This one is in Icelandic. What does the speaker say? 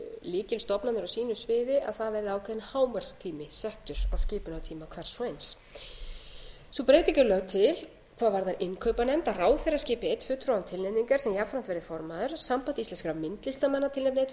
lykilstofnanir á sínu sviði að það verði ákveðinn hámarkstími settur á skipunartíma hvers og eins sú breyting er lögð til hvað varðar innkaupanefnd að ráðherra skipi einn fulltrúa án tilnefningar sem jafnframt verði formaður samband íslenskra myndlistarmanna tilnefni einn fulltrúa en að auki sitji